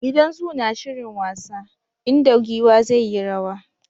Gidan zoo na shirin wasa, inda giwa zai yi rwa.